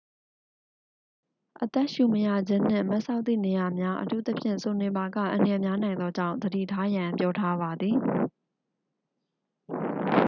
အသက်ရှူမရခြင်းနှင့် မတ်စောက်သည့်နေရာများ အထူးသဖြင့် စိုနေပါက အန္တရာယ်များနိုင်သောကြောင့် သတိထားရန် ပြောထားပါသည်